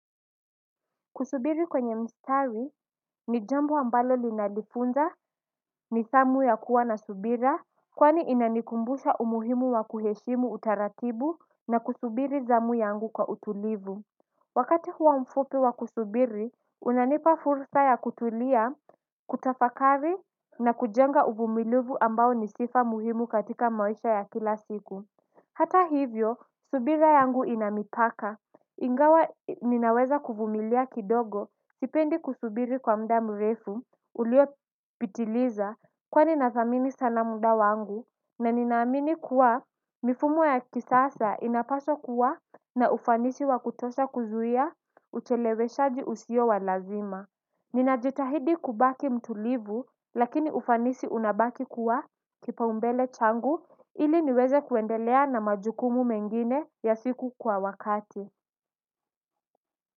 Kusubiri kwenye mstari ni jambo ambalo linanifunza nidhamu ya kuwa na subira kwani inanikumbusha umuhimu wa kuheshimu utaratibu na kusubiri zamu yangu kwa utulivu. Wakati huo mfupi wa kusubiri unanipa fursa ya kutulia kutafakari na kujenga uvumilivu ambao ni sifa muhimu katika maisha ya kila siku. Hata hivyo, subira yangu ina mipaka. Ingawa ninaweza kuvumilia kidogo, sipendi kusubiri kwa mda mrefu, uliopitiliza, kwani nathamini sana mda wangu, na ninaamini kuwa mifumo ya kisasa inapaswa kuwa na ufanisi wa kutosha kuzuia, ucheleweshaji usio wa lazima. Ninajitahidi kubaki mtulivu lakini ufanisi unabaki kuwa kipaumbele changu ili niweze kuendelea na majukumu mengine ya siku kwa wakati.